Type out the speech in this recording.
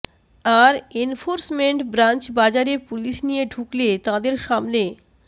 আর enforcement branch বাজারে police নিয়ে ঢুকলে তাঁদের সামনে